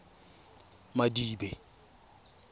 madibe